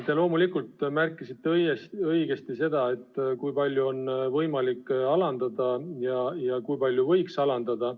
Te loomulikult märkisite õigesti, kui palju on võimalik seda määra alandada.